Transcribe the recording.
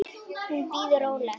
Hún bíður róleg.